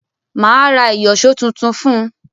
Mà á ra ìyọ̀ṣọ́ tuntun fún un.